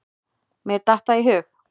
Mér datt það í hug.